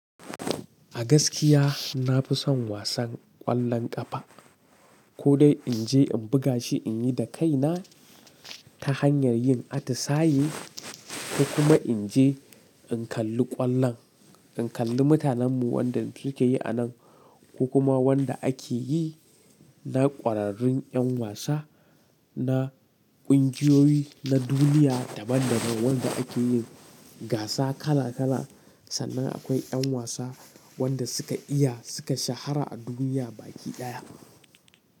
A gaskiya na fi son wasan ƙwallon ƙafa. Ko dai in je in buga shi, in yi da kaina ta hanyar yin atisaye, ko kuma in je in kalli ƙwallon, in kalli mutanen mu wanda suke yi a nan, ko kuma wanda ake yi na ƙwararrun 'yan wasa, na ƙungiyoyi, na duniya daban daban wanda ake yin gasa kala kala. Sannan akwai 'yan wasa wanda suka iya, suka shahara a duniya baki ɗaya.